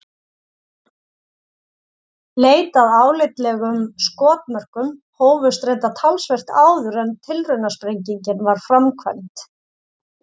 Leit að álitlegum skotmörkum hófst reyndar talsvert áður en tilraunasprengingin var framkvæmd.